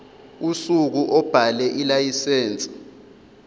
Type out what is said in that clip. usuku obhale ilayisense